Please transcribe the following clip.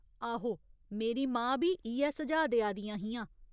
आहो, मेरी मां बी इ'यै सुझाऽ देआ दियां हियां।